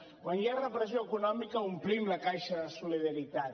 quan hi ha repressió econòmica omplim la caixa de la solidaritat